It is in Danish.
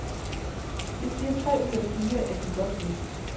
Det siger tre ud af fire, at de godt ved.